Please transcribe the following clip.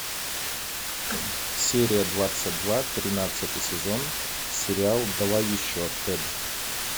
серия двадцать два тринадцатый сезон сериал давай еще тэд